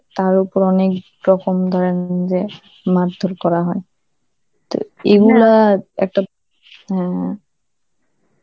তার ওপর অনেক রকম ধরন~ উম যে মারধর করা হয়, তো এগুলা একটা, হ্যাঁ.